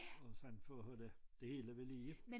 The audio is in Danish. Og sådan for holde det hele ved lige